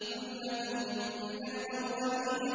ثُلَّةٌ مِّنَ الْأَوَّلِينَ